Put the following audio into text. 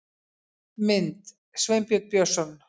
Mynd: Sveinbjörn Björnsson